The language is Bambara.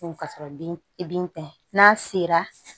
Ka sɔrɔ bin bin tɛ n'a sera